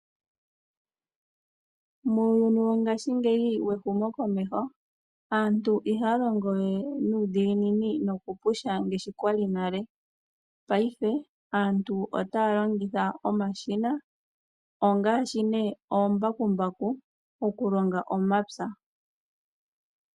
Muuyuni wongashingeyi wehumokomeho aantu ihaya longo we Nuudhiginini noku pusha ngaashi kwali nalepayife aantu otaya longitha omashina ngaashi oombakumbaku oku longa omapya.